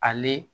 Ale